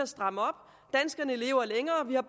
stramme op danskerne lever længere vi har